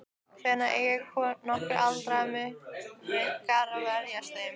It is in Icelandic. Hvernig eiga nokkrir aldraðir munkar að verjast þeim?